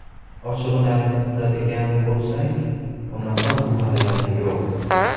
Ochig‘ini aytadigan bo‘lsak, unaqa viloyat yo‘q.